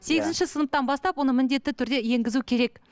сегізінші сыныптан бастап оны міндетті түрде енгізу керек